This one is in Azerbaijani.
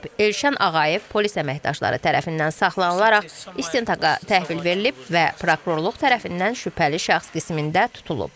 Elşən Ağayev polis əməkdaşları tərəfindən saxlanılaraq istintaqa təhvil verilib və prokurorluq tərəfindən şübhəli şəxs qismində tutulub.